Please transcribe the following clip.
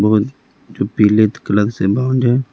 बहुत जो पीले कलर से बाउंड है।